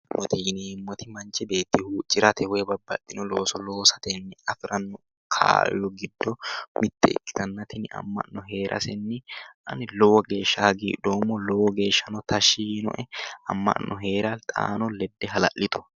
Ama'note yineemmoti huuccirate woyi babbaxino looso loossate qaalu giddo mite ikkatanoti ama'no heerasennj ani lowo geeshsha hagiidhoommo ,lowo geeshshano tashshi yiinoe ama'nono heera xaano lede hala'litto.